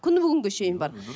күні бүгінге шейін бар мхм